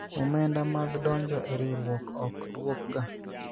omenda mag donjo e riwruok ok dwokga